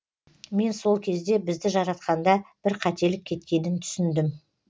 мен сол кезде бізді жаратқанда бір қателік кеткенін түсіндім